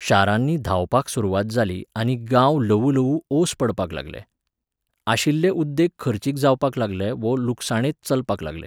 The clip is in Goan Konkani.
शारांनी धांवपाक सुरवात जाली आनी गांव ल्हवूल्हवू ओस पडपाक लागले. आशिल्ले उद्देग खर्चीक जावपाक लागले वो लुकसाणेंत चलपाक लागले